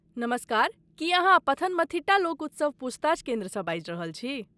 नमस्कार, की अहाँ पथनमथिट्टा लोक उत्सव पूछताछ केन्द्रसँ बाजि रहल छी?